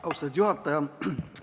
Austatud juhataja!